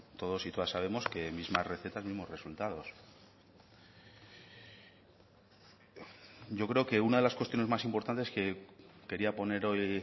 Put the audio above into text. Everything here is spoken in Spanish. todos y todas sabemos que misma receta mismos resultados yo creo que una de las cuestiones más importantes que quería poner hoy